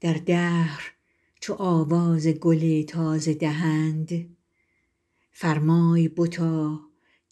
در دهر چو آواز گل تازه دهند فرمای بتا